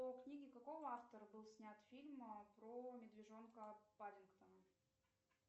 по книге какого автора был снят фильм про медвежонка паддингтона